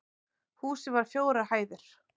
Húsið var fjórar hæðir